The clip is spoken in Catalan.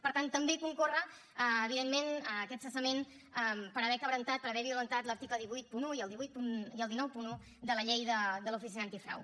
per tant també concorre evidentment aquest cessament per haver crebantat per haver violentat l’article cent i vuitanta un i el cent i noranta un de la llei de l’oficina antifrau